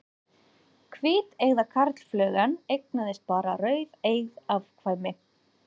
Hvíteygða karlflugan eignaðist bara rauðeygð afkvæmi.